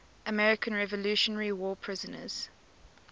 american revolutionary war prisoners